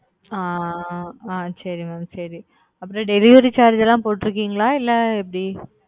அ அ சரி mam சரி அப்புறம் delivery charge லாம் போட்டுருக்கீங்களா இல்ல எப்படி?